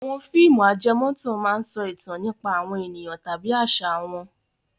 Àwọn fíìmù ajẹmọ́tàn máa ń sọ ìtàn nípa àwọn ènìyàn tàbí àṣà wọn.